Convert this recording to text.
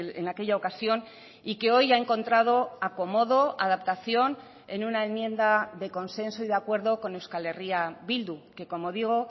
en aquella ocasión y que hoy ha encontrado acomodo adaptación en una enmienda de consenso y de acuerdo con euskal herria bildu que como digo